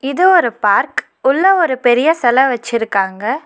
இது ஒரு பார்க் உள்ள ஒரு பெரிய செல வெச்சிருக்காங்க.